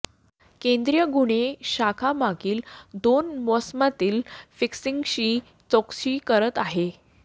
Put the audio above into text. केंद्रीय गुन्हे शाखा मागील दोन मोसमातील फिक्सिंगची चौकशी करत आहे